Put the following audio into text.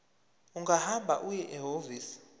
ungahamba uye ehhovisi